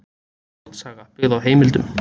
Skáldsaga byggð á heimildum.